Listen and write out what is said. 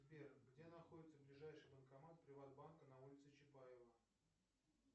сбер где находится ближайший банкомат приват банка на улице чапаева